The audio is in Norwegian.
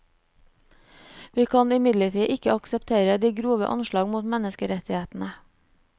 Vi kan imidlertid ikke akseptere de grove anslag mot menneskerettighetene.